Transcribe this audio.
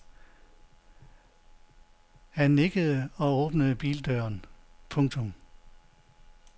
Han nikkede og åbnede bildøren. punktum